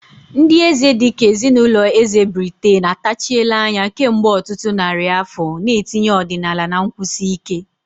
Ndị eze dị ka ezinụlọ eze Britain atachiela anya kemgbe ọtụtụ narị afọ, na-etinye ọdịnala na nkwụsi ike.